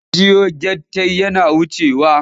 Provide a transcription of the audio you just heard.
Mun jiyo gyartai yana wucewa.